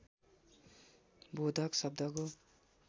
बोधक शब्दको